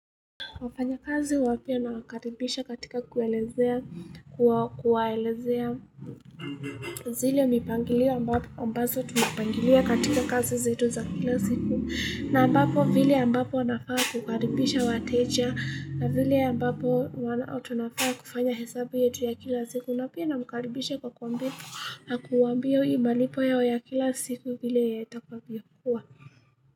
Wafanyakazi wapya nawakaribisha katika kuwaelezea zile mipangilio ambazo tumepangilia katika kazi zetu za kila siku na ambapo vile ambapo wanafaa kukaribisha wateja na vile ambapo wanafaa kufanya hesabu yetu ya kila siku na pia na wakaribisha kwa kuwaambia hii malipo yao ya kila siku vile yatakavyokuwa.